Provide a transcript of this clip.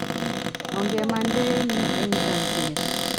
Ongemande eng yuu eng chakchinet